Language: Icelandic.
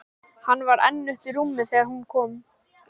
Hann var enn uppi í rúmi þegar hún kom.